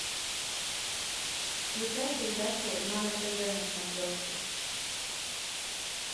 включай передачу нано тв на смотрешке